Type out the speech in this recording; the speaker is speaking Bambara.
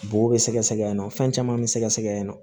Bo bɛ sɛgɛsɛgɛ yannɔ fɛn caman be sɛgɛsɛgɛ yen nɔ